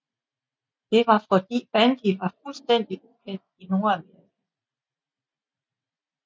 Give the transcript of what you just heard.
Det var fordi bandy var fuldstændig ukendt i Nordamerika